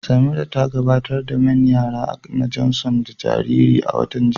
Samira ta gabatar da main yara na Johnson ga jaririnta a watan jiya.